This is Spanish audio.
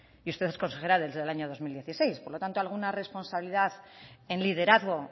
y usted es consejera desde el año dos mil dieciséis por lo tanto alguna responsabilidad en liderazgo